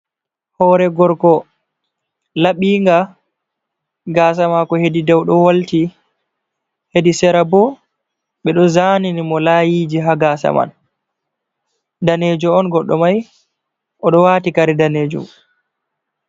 Hore gorko laɓi nga gasa mako hedi dou ɗo walti hedi sera bo be ɗo zani ni mo layiji ha gasa man danejo on goɗɗo mai oɗo wati kare danejum.